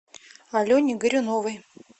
алене горюновой